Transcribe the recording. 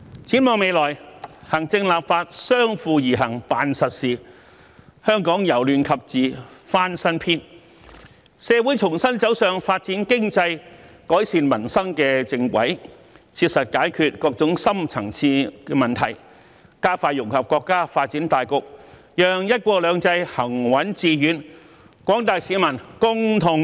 展望未來，行政立法相輔而行辦實事，香港由亂及治翻新篇，社會重新走上發展經濟、改善民生的正軌，切實解決各種深層次問題，加快融入國家發展大局，讓"一國兩制"行穩致遠，廣大市民共同受惠。